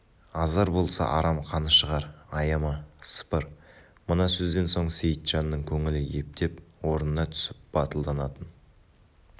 азар болса арам қаны шығар аяма сыпыр мына сөзден сон сейітжанның көңілі ептеп орнына түсіп батылданатын